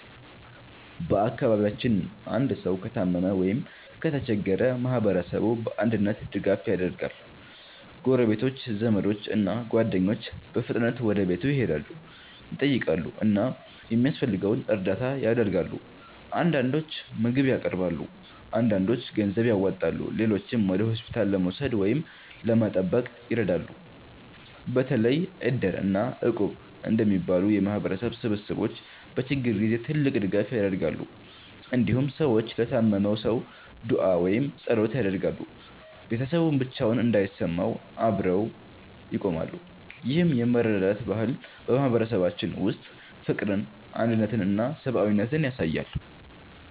በአካባቢያችን አንድ ሰው ከታመመ ወይም ከተቸገረ ማህበረሰቡ በአንድነት ድጋፍ ያደርጋል። ጎረቤቶች፣ ዘመዶች እና ጓደኞች በፍጥነት ወደ ቤቱ ይሄዳሉ፣ ይጠይቃሉ እና የሚያስፈልገውን እርዳታ ያደርጋሉ። አንዳንዶች ምግብ ያቀርባሉ፣ አንዳንዶች ገንዘብ ያዋጣሉ፣ ሌሎችም ወደ ሆስፒታል ለመውሰድ ወይም ለመጠበቅ ይረዳሉ። በተለይ Iddir እና Equb እንደሚባሉ የማህበረሰብ ስብስቦች በችግር ጊዜ ትልቅ ድጋፍ ያደርጋሉ። እንዲሁም ሰዎች ለታመመው ሰው ዱዓ ወይም ጸሎት ያደርጋሉ፣ ቤተሰቡም ብቻውን እንዳይሰማው አብረው ይቆማሉ። ይህ የመረዳዳት ባህል በማህበረሰባችን ውስጥ ፍቅርን፣ አንድነትን እና ሰብአዊነትን ያሳያል።